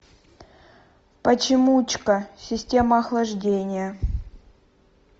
почемучка система охлаждения